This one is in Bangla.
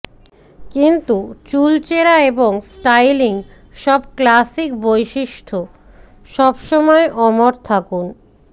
কিন্তু চুলচেরা এবং স্টাইলিং সব ক্লাসিক বৈশিষ্ঠ সবসময় অমর থাকুন